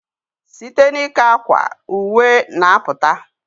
Site n ika akwa, uwe n aputa